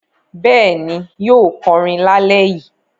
Bẹ́ẹ̀ ni, yóò kọrin lálẹ́ yìí.